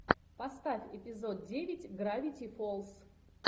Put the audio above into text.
поставь эпизод девять гравити фолз